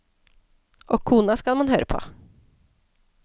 Og kona skal man høre på.